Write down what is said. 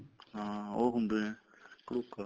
ਹਾਂ ਉਹ ਹੁੰਦੇ ਆ ਕਡੂਕਾ